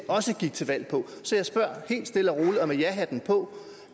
gik til valg på så jeg spørger helt stille og roligt og med jahatten på